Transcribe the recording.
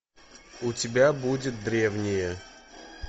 у тебя будет древние